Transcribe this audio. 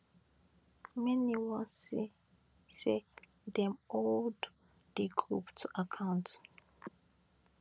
many wan see say dem hold di group to account